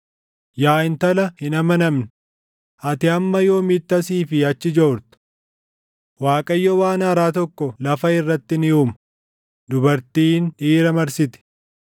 Yaa intala hin amanamne, ati hamma yoomiitti asii fi achi joorta? Waaqayyo waan haaraa tokko lafa irratti ni uuma; dubartiin dhiira marsiti.”